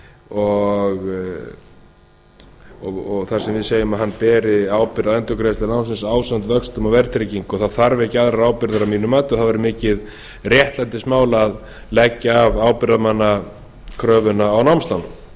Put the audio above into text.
og þar sem við segjum að hann beri ábyrgð á endurgreiðslu lánsins ásamt vöxtum og verðtryggingu þá þarf ekki aðrar ábyrgðir að mínu mati og það væri mikið réttlætismál að leggja af ábyrgðarmannakröfu á námslán